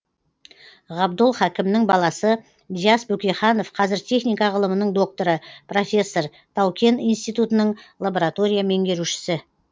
ғабдол хакімнің баласы диас бөкейханов қазір техника ғылымының докторы профессор тау кен институтының лаборатория меңгерушісі